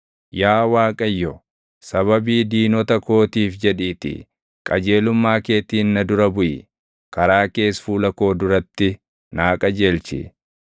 Yaa Waaqayyo, sababii diinota kootiif jedhiitii qajeelummaa keetiin na dura buʼi; karaa kees fuula koo duratti naa qajeelchi.